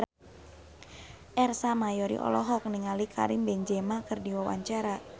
Ersa Mayori olohok ningali Karim Benzema keur diwawancara